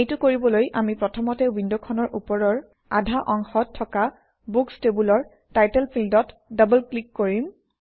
এইটো কৰিবলৈ আমি প্ৰথমতে উইণ্ডখনৰ ওপৰৰ আধা অংশত থকা বুক্স টেবুলৰ টাইটেল ফিল্ডত ডবল ক্লিক কৰিম